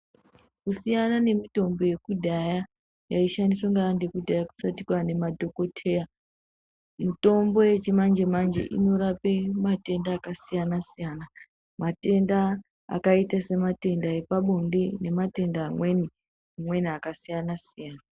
Kusiyana nemutombo yekudhaya yaishandiswa ngevantu yekudhaya kusati kwane madhokoteya mitombo yechimanje manje inorape matenda akasiyana siyana matenda akaita sematenda epabonde nematenda amweni amweni akasiyana siyana.